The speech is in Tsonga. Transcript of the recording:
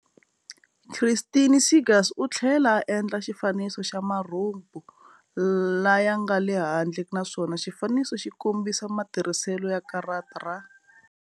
Christine Seegers u tlhela a endla xifaniso xa marhumbu laya nga le handle naswona xifaniso xi kombisa matirhiselo ya karata ra.